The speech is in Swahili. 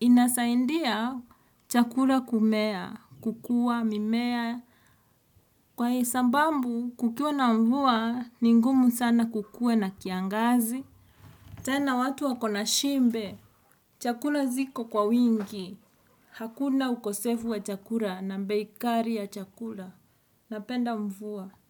Inasaindia chakura kumea, kukua, mimea. Kwa hei, sabambu, kukiwa na mvua, ni ngumu sana kukuwe na kiangazi. Tena watu wakona shimbe. Chakula ziko kwa wingi. Hakuna ukosefu wa chakura na mbeikari ya chakura. Napenda mvua.